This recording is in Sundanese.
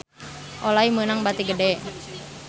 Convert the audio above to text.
Olay meunang bati gede